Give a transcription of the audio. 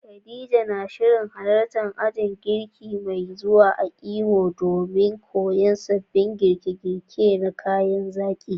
Khadija na shirin halartar ajin girki mai zuwa a Imo domin koyon sabbin girke-girke na kayan zaki.